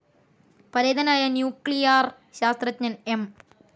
പരേതനായ ന്യൂക്ലിയർ ശാസ്ത്രജ്ഞൻ എം.